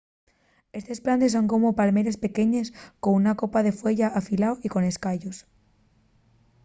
estes plantes son como palmeres pequeñes con una copa de fueya afilao y con escayos